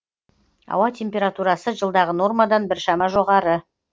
ауа температурасы жылдағы нормадан біршама жоғары